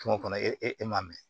Kungo kɔnɔ e m'a mɛn